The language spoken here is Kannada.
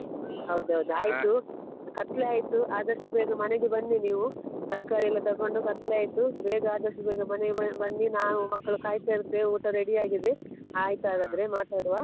ಹೌದೌದು. ಆಯ್ತು ಕತ್ಲೆ ಆಯ್ತು. ಆದಷ್ಟು ಬೇಗ ಮನೆಗೆ ಬನ್ನಿ ನೀವು, ತರ್ಕಾರಿ ಎಲ್ಲ ತಗೊಂಡು ಕತ್ಲೆ ಆಯ್ತು ಬೇಗ ಆದಷ್ಟು ಬೇಗ ಮನೆಗೆ ಬ~ ಬನ್ನಿ ನಾವು ಮಕ್ಕಳು ಕಾಯ್ತಾ ಇರ್ತೇವೆ, ಊಟ ready ಆಗಿದೆ. ಆಯ್ತಾಗಾದ್ರೆ ಮಾತಾಡುವ.